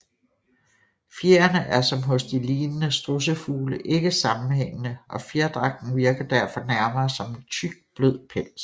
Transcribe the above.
Fjerene er som hos de lignende strudsefugle ikke sammenhængende og fjerdragten virker derfor nærmere som en tyk blød pels